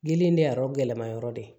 Gili in de a yɔrɔ gɛlɛmayɔrɔ de ye